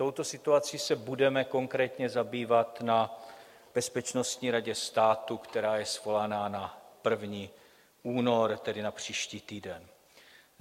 Touto situací se budeme konkrétně zabývat na Bezpečnostní radě státu, která je svolána na 1. únor, tedy na příští týden.